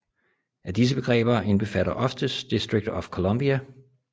Alle disse begreber indbefatter oftest District of Columbia